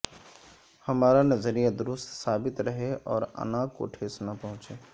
ہمارا نظریہ درست ثابت رہے اور انا کو ٹھیس نہ پہنچے